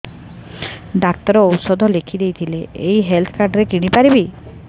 doctor ଔଷଧ ଲେଖିଦେଇଥିଲେ ଏଇ ହେଲ୍ଥ କାର୍ଡ ରେ କିଣିପାରିବି